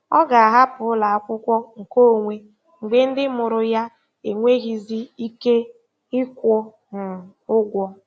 Ọ ga-ahapụ ụlọ akwụkwọ nkeonwe mgbe ndị mụrụ ya enweghịzi ike ịkwụ um ụgwọ.